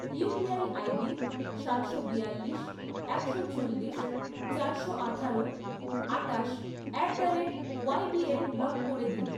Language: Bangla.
ইউপিআই আইডি সাতশো বিয়াল্লিশ, একশো চল্লিশ, চারশো আঠারো, আটাশ at the rate YBL block করে দিন